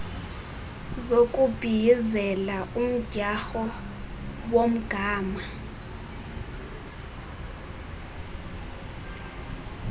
zokubhiyizela umdyarho womgama